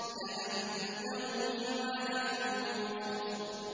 كَأَنَّهُ جِمَالَتٌ صُفْرٌ